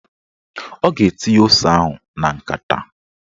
Ọ ga-etinye ose ahụ na nkata